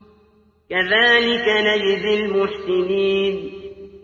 كَذَٰلِكَ نَجْزِي الْمُحْسِنِينَ